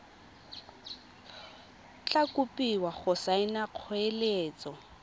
tla kopiwa go saena kgoeletso